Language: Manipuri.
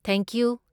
ꯊꯦꯡꯀ꯭ꯌꯨ!